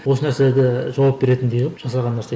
осы нәрседе жауап беретіндей қылып жасаған нәрсе